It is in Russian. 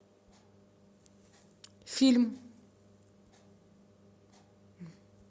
фильм